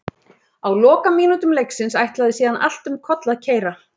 Á lokamínútum leiksins ætlaði síðan allt um koll að keyra.